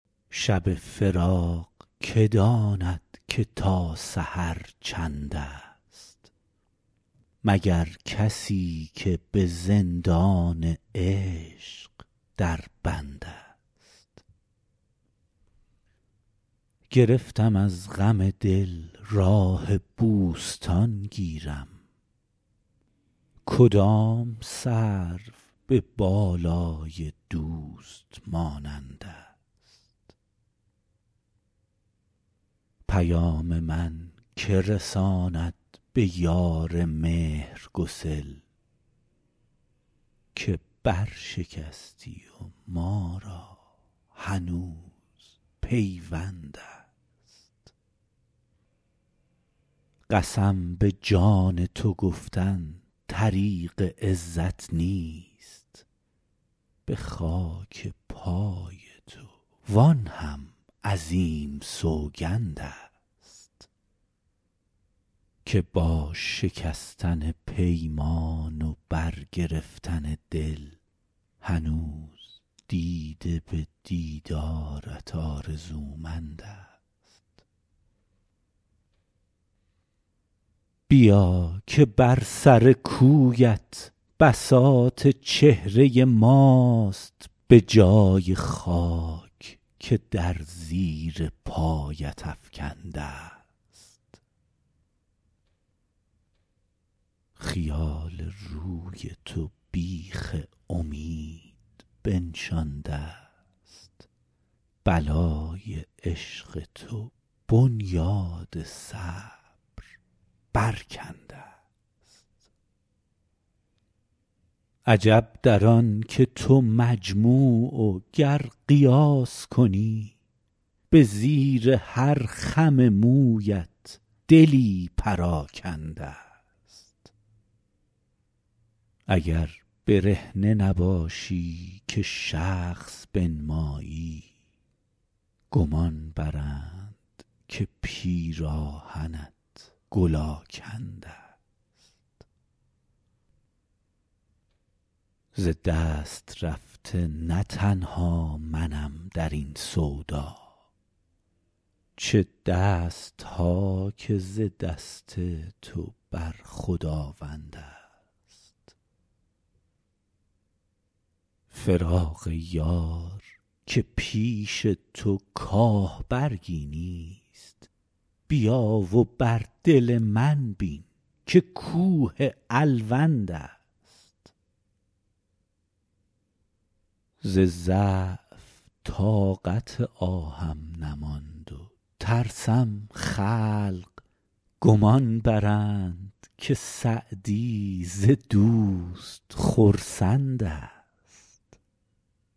شب فراق که داند که تا سحر چندست مگر کسی که به زندان عشق در بندست گرفتم از غم دل راه بوستان گیرم کدام سرو به بالای دوست مانندست پیام من که رساند به یار مهرگسل که برشکستی و ما را هنوز پیوندست قسم به جان تو گفتن طریق عزت نیست به خاک پای تو وآن هم عظیم سوگندست که با شکستن پیمان و برگرفتن دل هنوز دیده به دیدارت آرزومندست بیا که بر سر کویت بساط چهره ماست به جای خاک که در زیر پایت افکندست خیال روی تو بیخ امید بنشاندست بلای عشق تو بنیاد صبر برکندست عجب در آن که تو مجموع و گر قیاس کنی به زیر هر خم مویت دلی پراکندست اگر برهنه نباشی که شخص بنمایی گمان برند که پیراهنت گل آکندست ز دست رفته نه تنها منم در این سودا چه دست ها که ز دست تو بر خداوندست فراق یار که پیش تو کاه برگی نیست بیا و بر دل من بین که کوه الوندست ز ضعف طاقت آهم نماند و ترسم خلق گمان برند که سعدی ز دوست خرسندست